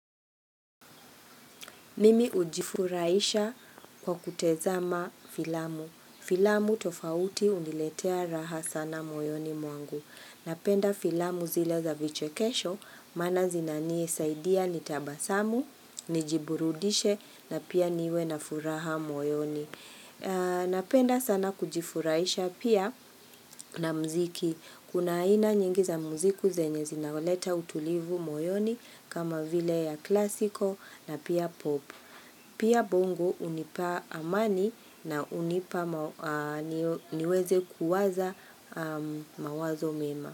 Mimi ujifuraisha kwa kutezama filamu. Filamu tofauti uniletea raha sana moyoni mwangu. Napenda filamu zile za vichekesho maana zinanisaidia nitabasamu, nijiburudishe na pia niwe na furaha moyoni. Napenda sana kujifuraisha pia na mziki Kuna ina nyingi za mziku zenye zinaoleta utulivu moyoni kama vile ya klasiko na pia pop Pia bongo unipa amani na unipa niweze kuwaza mawazo mema.